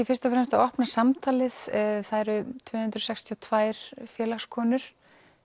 fyrst og fremst að opna samtalið það eru tvö hundruð sextíu og tvær félagskonur